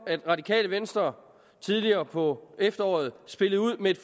radikale venstre tidligere på efteråret spillede ud med et